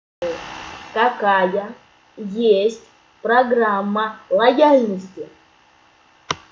какая есть программа лояльности